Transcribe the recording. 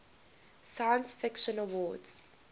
science fiction awards